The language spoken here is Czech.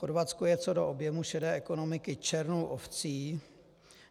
Chorvatsko je co do objemu šedé ekonomiky černou ovcí.